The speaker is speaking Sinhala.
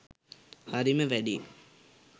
හරිම වැඩේ